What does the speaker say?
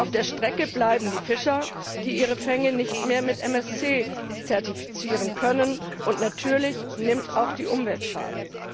Auf der Strecke bleiben die Fischer, die ihre Fänge nicht mehr mit MSC zertifizieren können, und natürlich nimmt auch die Umwelt Schaden.